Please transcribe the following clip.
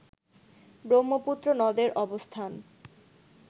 ব্রহ্মপুত্র নদের অবস্থান